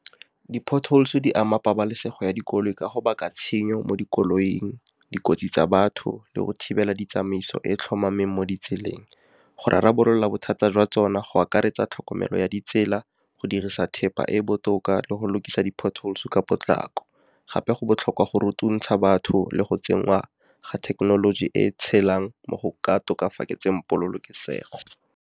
Di-potholes di ama pabalesego ya dikoloi ka go baka tshenyo mo dikoloing, dikotsi tsa batho le go thibela di tsamaiso se di tlhomameng mo ditseleng. Go rarabolola bothata jwa tsona go akaretsa tlhokomelo ya ditsela, go dirisa thepa e e botoka le go lokisa di-potholes ka potlako. Gape, go botlhokwa go rutuntsha batho le go tsenngwa ga thekenoloji e e tshelang mo go ka tokafatseng polokesego.